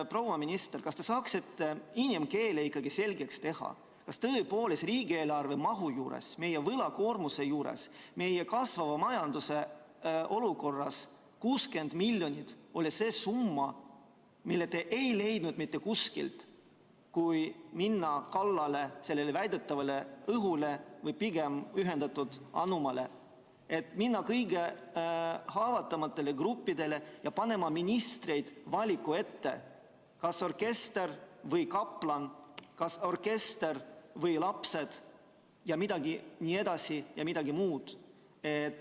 Proua minister, kas te saaksite inimkeeles ikkagi selgeks teha, kas tõepoolest riigieelarve mahu juures, meie võlakoormuse juures, meie kasvava majanduse olukorras on 60 miljonit see summa, mida te ei leidnud mitte kuskilt mujalt ja tuli minna kallale sellele väidetavale õhule või pigem ühendatud anumatele, minna kallale kõige haavatavamatele gruppidele ja panna ministrid valiku ette, kas orkester või kaplan, kas orkester või lapsed jne?